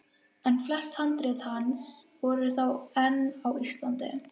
En flest handrit hans voru þá enn á Íslandi.